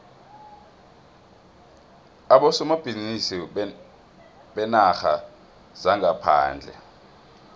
abosomabhizinisi beenarha zangaphandle